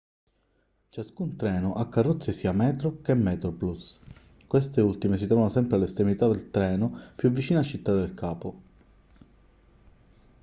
ciascun treno ha carrozze sia metro che metroplus queste ultime si trovano sempre all'estremità del treno più vicina a città del capo